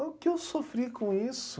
O que eu sofri com isso?